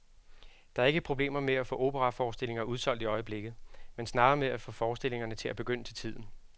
Der er ikke problemer med at få operaforestillinger udsolgt i øjeblikket, men snarere med at få forestillingerne til at begynde til tiden.